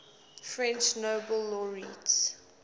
french nobel laureates